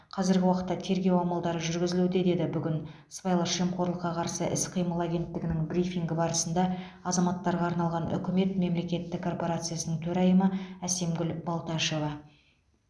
қазіргі уақытта тергеу амалдары жүргізілуде деді бүгін сыбайлас жемқорлыққа қарсы іс қимыл агенттігінің брифингі барысында азаматтарға арналған үкімет мемлекеттік корпорациясының төрайымы әсемгүл балташева